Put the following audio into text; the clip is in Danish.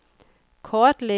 kortlæg